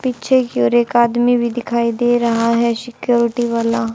पीछे की ओर एक आदमी भी दिखाई दे रहा है सिक्योरिटी वाला।